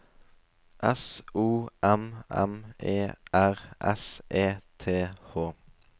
S O M M E R S E T H